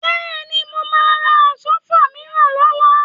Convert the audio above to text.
Bẹ́ẹ̀ni, mo máa ra Àsọ́fà mìíràn lọ́la